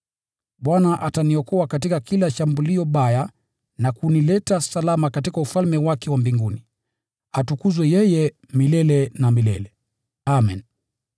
Bwana ataniokoa katika kila shambulio baya na kunileta salama katika Ufalme wake wa mbinguni. Atukuzwe yeye milele na milele. Amen.